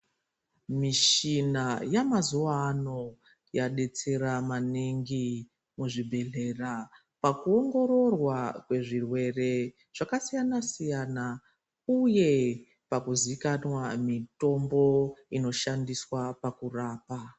Mishina yamazuwa ano yadetsera maningi muzvibhedhlera pakuongororwa kwezvirwere Zvakasiyana siyana uye pakuzikanwa mutombo inoshandiswa pakurapa.